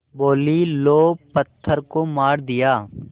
बोलीं लो पत्थर को मार दिया